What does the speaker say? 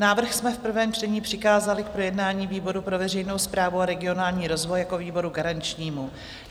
Návrh jsme v prvém čtení přikázali k projednání výboru pro veřejnou správu a regionální rozvoj jako výboru garančnímu.